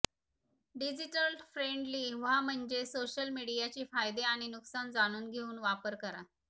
digital friendly व्हा म्हणजेच social मीडियाचे फायदे आणि नुकसान जाणून घेऊन वापर करा